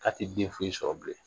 K'a tɛ den foyi sɔrɔ bilen